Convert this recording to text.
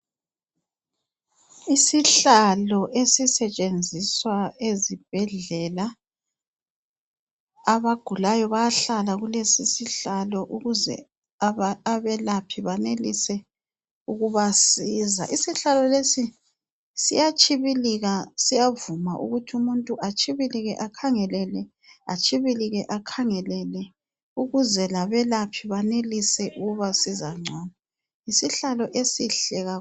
Isihlalo esitshenziswa ezibhedlela abagulayo bayahlala kuleso sihlalo ukuze abelaphi banelise ukubasiza. Isihlalo lesi siyatshibilika siyavuma ukuthi umuntu atshibilike akhangele le ,atshibilike akhangele le ukuze labelaphi benelise ukubasiza ngcono. Yisihlalo esihle kakhulu.